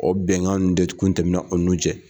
O bɛnkan ninnu de kun tɛmɛna an ni ɲɔgɔn cɛ.